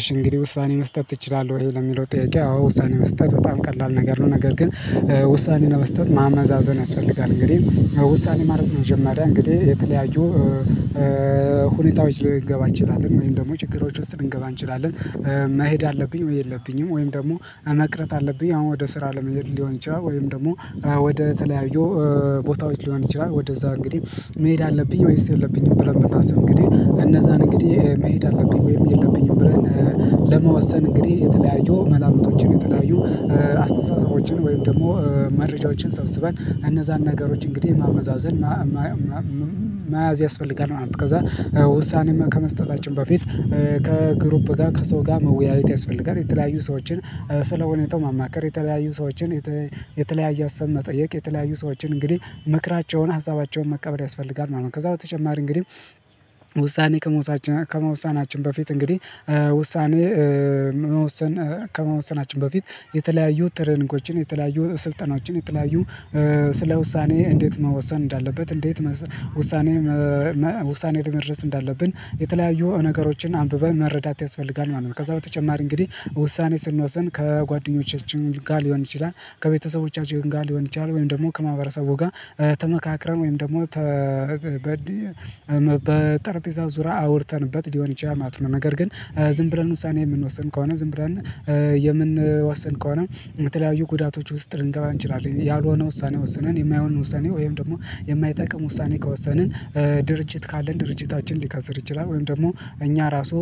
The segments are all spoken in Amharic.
እሽ እንግዲህ ውሳኔ መስጠት እችላለሁ ይሄ ለሚለው ጥያቄ ውሳኔ መስጠት በጣም ቀላል ነገር ነው። ነገር ግን ውሳኔን ለመስጠት ማመዛዘን ያስፈልጋል። እንግዲህ ውሳኔ ማለት ነው መማሪያ እንግዲህ የተለያዩ ሁኔታዎች ልንገባ እንችላለን ወይም ደግሞ ችግሮች ውስጥ ልንገባ እንችላለን። መሄድ አለብኝ ወይ የለብኝም ወይም ደግሞ መቅረት አለብኝ አሁን ወደ ስራ ለመሄድ ሊሆን ይችላል ወይም ደግሞ ወደ ተለያዩ ቦታዎች ሊሆን ይችላል ወደዛ እንግዲህ መሄድ አለብኝ ወይስ የለብኝም ብለን መናስም እንግዲህ እንደዛን እንግዲህ መሄድ አለብኝ ወይም የለብኝም ብረን? ለመወሰን እንግዲህ የተለያዩ መላምቶችን የተለያዩ አስተሳስቦችን ወይም ደግሞ መረጃዎችን ሰብስበን እነዛን ነገሮች እንግዲህ ማመዛዘን መያዝ ያስፈልጋል ማለት ነው። ከዛ ውሳኔም ከመስጠታችን በፊት ከግሩፕ ጋር ከሰው ጋር መወያየት ያስፈልጋል የተለያዩ ሰዎችን ስለሁኔታው ማማከር የተለያዩ ሰዎችን የተለያየ አሳብ መጠየቅ የተለያዩ ሰዎችን እንግዲህ ምክራቸውን ሀዛባቸውን መቀበል ያስፈልጋል ማለት ነው። ከዛ በተጨማሪ እንግዲህ ከመወሳናችን ከመውሳናችን በፊት እንግዲህ ውሳኔ መወሰን ከመወሰናችን በፊት የተለያዩ ትሬኒጎችን የተለያዩ ስልጠናዎችን የተለያዩ ስለ ውሳኔ እንዴት መወሰን እንዳለበት እንዴት ውሳኔ ውሳኔ ላይ ድረስ እንዳለብን የተለያዩ ነገሮችን አንብበን መረዳት ያስፈልጋል ማለት ነው። ከዛ በተጨማሪ እንግዲህ ውሳኔ ስንወስን ከጓደኞቻችን ጋር ሊሆን ይችላል ከቤተሰቦቻችን ጋር ሊሆን ይችላል ወይም ደግሞ ከማህበረሰቡ ጋር ተመካክረን ወይም ደግሞ ተበድይ በጠርጴዛ ዙራ አውርተንበት ሊሆን ይችላል ማለት ነው። ነገር ግን ዝም ብረን ውሳኔ የምንወስን ከሆነ ዝም ብረን የምንወስን ከሆነ የተለያዩ ጉዳቶች ውስጥ ልንገባ እንችላለን ያልሆነ ውሳኔ ወሰነን የማይሆን ውሳኔ ወይም ደግሞ የማይጠቅም ውሳኔ ከወሰንን ድርጅት ካለን ድርጅታችን ሊከስር ይችላል ወይም ደግሞ እኛ ራሱ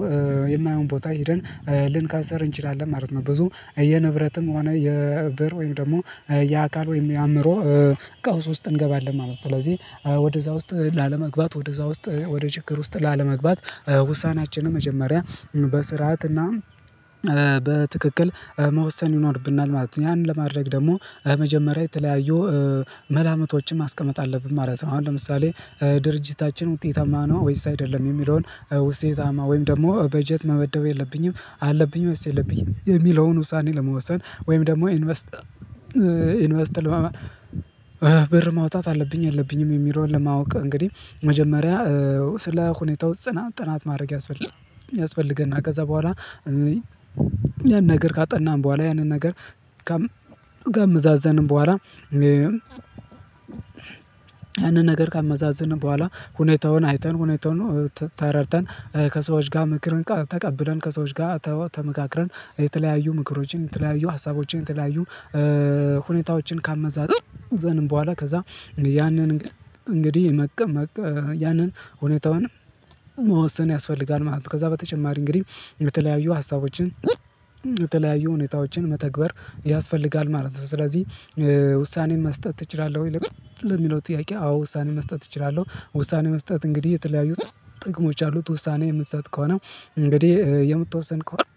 የማይሆን ቦታ ሄደን ልንካሰር እንችላለን ማለት ነው። ብዙ የንብረትም ሆነ የብር ወይም ደግሞ የአካል ወይም የአእምሮ ቀውስ ውስጥ እንገባለን ማለት ነው። ስለዚህ ወደዛ ውስጥ ላለመግባት ወደዛ ውስጥ ወደ ችግር ውስጥ ላለመግባት ውሳኔያችንን መጀመሪያ በስርዓት እና በትክክል መወሰን ይኖርብናል ማለት ነው። ያንን ለማድረግ ደግሞ መጀመሪያ የተለያዩ መላመቶችን ማስቀመጥ አለብን ማለት ነው። አሁን ለምሳሌ ድርጅታችን ውጤታማ ነው ወይስ አይደለም? የሚለውን ውስጤታማ ወይም ደግሞ በጀት መመደብ የለብኝም አለብኝም ወስድ የለብኝም የሚለውን ውሳኔ ለመወሰን ወይም ደግሞ ኢንቨስት ኢንቨስት ለማመን ብር ማውጣት አለብኝ የብኝም የሚለውን ለማወቅ እንግዲህ መጀመሪያ ስለ ሁኔታው ጽናት ጥናት ማድረግ ያስፈልጋል። ያስፈልገናል ከዛ በኋላ ያንን ነገር ካጠናን በኋላ ያንን ነገር ካመዛዘንን በኋላ ያንን ነገር ካመዛዝንን በኋላ ሁኔታውን አይተን ሁኔታውን ተረድተን ከሰዎች ጋር ምክርን ተቀብለን ከሰዎች ጋር ተመካክረን የተለያዩ ምክሮችን የተለያዩ ሀሳቦችን የተለያዩ ሁኔታዎችን ካመዛዘንን በኋላ ከዛ ያንን እንግዲህ የመቀበል ያንን ሁኔታውን መወሰን ያስፈልጋል ማለት ነው። ከዛ በተጨማሪ እንግዲህ የተለያዩ ሀሳቦችን በተለያዩ ሁኔታዎችን መተግበር ያስፈልጋል ማለት ነው። ስለዚህ ውሳኔ መስጠት እችላለሁ ወይ ለሚለው ጥያቄ አዎ ውሳኔ መስጠት እችላለሁ። ውሳኔ መስጠት እንግዲህ የተለያዩት ጥቅሞች አሉት ውሳኔ የምትሰጥ ከሆነ እንግዲህ የምትወሰን ከሆነ